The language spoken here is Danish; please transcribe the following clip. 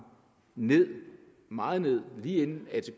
ned meget ned lige inden atk